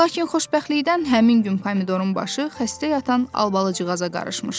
Lakin xoşbəxtlikdən həmin gün Pomidorun başı xəstə yatan albalıcığaza qarışmışdı.